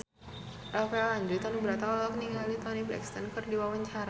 Rafael Landry Tanubrata olohok ningali Toni Brexton keur diwawancara